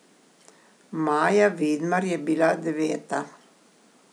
Maja Vidmar je bila deveta.